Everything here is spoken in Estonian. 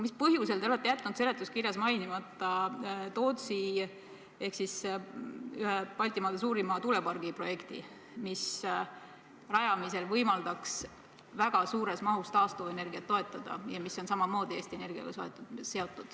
Mis põhjusel te olete aga jätnud seletuskirjas mainimata Tootsi ehk ühe Baltimaade suurima tuulepargi projekti, mille rajamise korral oleks võimalik väga suures mahus taastuvenergiat toetada ja mis on samamoodi Eesti Energiaga seotud?